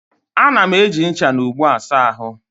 A na-eji ncha na ogbo asa ahụ.